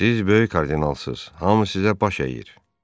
Siz böyük kardinalsız, hamı sizə baş əyir.